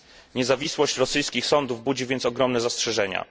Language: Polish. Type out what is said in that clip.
Niezawisłość rosyjskich sądów budzi więc ogromne zastrzeżenia.